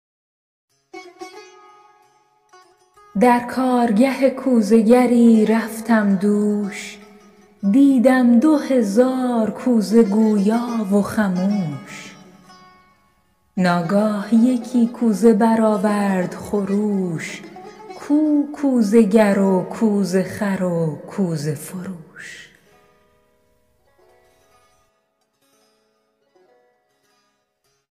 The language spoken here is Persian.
در کارگه کوزه گری رفتم دوش دیدم دو هزار کوزه گویا و خموش ناگاه یکی کوزه برآورد خروش کو کوزه گر و کوزه خر و کوزه فروش